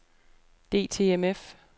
DTMF